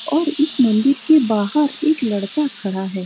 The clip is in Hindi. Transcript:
और इस मंदिर के बाहर एक लड़का खड़ा है।